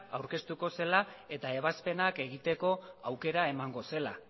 aurkeztu zela eta ebazpenak egiteko aukera emango zela